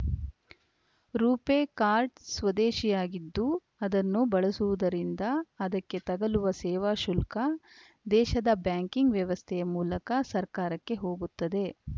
ರೂಪೆ card ಸ್ವದೇಶಿಯಾಗಿದ್ದು ಅದನ್ನು ಬಳಸುವುದರಿಂದ ಅದಕ್ಕೆ ತಗಲುವ ಸೇವಾಶುಲ್ಕ ದೇಶದ ಬ್ಯಾಂಕಿಂಗ್‌ ವ್ಯವಸ್ಥೆಯ ಮೂಲಕ ಸರ್ಕಾರಕ್ಕೆ ಹೋಗುತ್ತದೆ